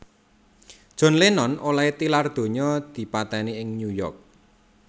John Lennon olèhé tilar donya dipatèni ing New York